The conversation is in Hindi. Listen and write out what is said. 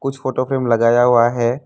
कुछ फोटो फ्रेम लगाया हुआ है।